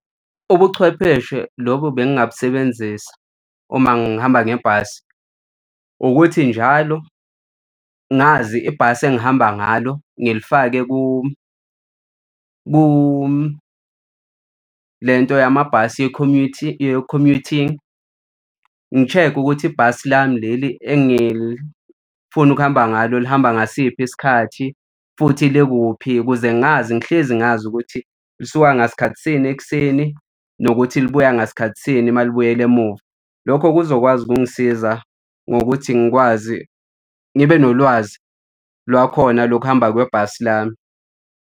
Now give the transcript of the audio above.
Ubuchwepheshe lobu bengabunzisa uma ngihamba ngebhasi ukuthi njalo ngazi ibhasi engihamba ngalo ngilifake le nto yamabhasi ye-commuting, ngi-check-e ukuthi ibhasi lami leli engifuna ukuhamba ngalo lihamba ngasiphi isikhathi futhi lekuphi ukuze ngazi ngihlezi ngazi ukuthi lisuka ngasikhathisini ekuseni nokuthi libuya ngasikhathi sini uma libuyele emuva. Lokho kuzokwazi ukungisiza ngokuthi ngikwazi ngibe nolwazi lwakhona lokuhamba kwebhasi lami.